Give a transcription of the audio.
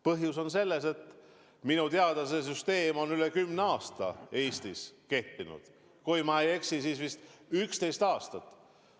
Põhjus on selles, et minu teada see süsteem on üle kümne aasta Eestis kehtinud – kui ma ei eksi, siis 11 aastat.